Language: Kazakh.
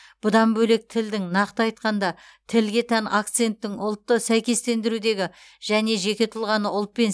бұдан бөлек тілдің нақты айтқанда тілге тән акценттің ұлтты сәйкестендірудегі және жеке тұлғаны ұлтпен